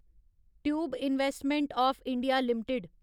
tube Investment O F India limited